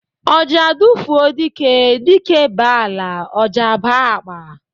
Ọjà dufuo dike, dike ba ala, ọjà aba akpa